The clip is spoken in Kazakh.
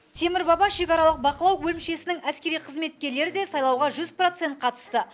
темір баба шекаралық бақылау бөлімшесінің әскери қызметкерлері де сайлауға жүз процент қатысты